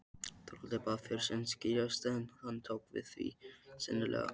Þorvaldur bað föður sinn skírast, en hann tók því seinlega.